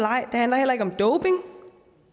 ej det handler heller ikke om doping